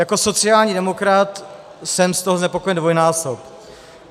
Jako sociální demokrat jsem z toho znepokojen dvojnásob.